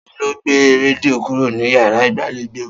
Ta ló gbé rẹdìo kúrò ní yàrá ìgbàléjo?